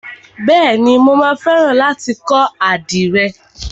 Bèéni, mà á fẹ́ràn láti kọ́ àdìrẹ.